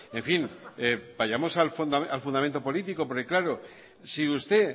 en fin vayamos al fundamento político porque claro si usted